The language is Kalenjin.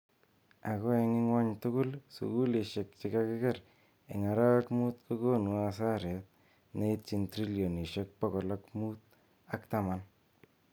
Ako eng ingwuny tugul sukulishek che kakiker eng arawek mut kokuno asaret neitiny trilinotshek pokol mut ak taman.